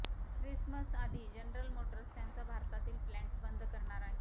ख्रिसमसआधी General Motors त्यांचा भारतातील plant बंद करणार आहे